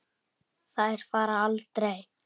Þær fara aldrei.